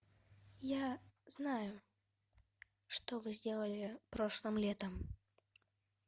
я знаю что вы сделали прошлым летом